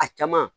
A caman